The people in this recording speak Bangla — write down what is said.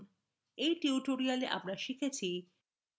in tutorial আমরা শিখেছি: